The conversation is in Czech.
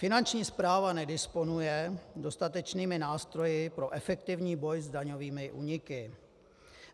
Finanční správa nedisponuje dostatečnými nástroji pro efektivní boj s daňovými úniky.